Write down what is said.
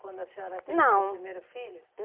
Quando a senhora teve. Não. Seu primeiro filho?